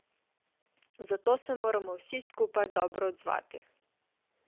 Zato se moramo vsi skupaj dobro odzvati.